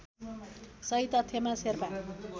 सही तथ्यमा शेर्पा